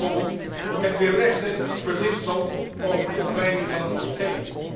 Neem bijvoorbeeld het weerlegde verzinsel over de ontwijding van een moskee.